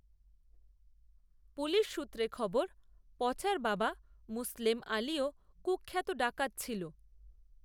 police সূত্রে খবর, পচার বাবা মুসলেম, আলিও, কূখ্যাত ডাকাত ছিল